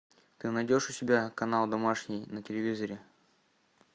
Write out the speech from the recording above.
ты найдешь у себя канал домашний на телевизоре